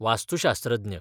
वास्तुशास्त्रज्ञ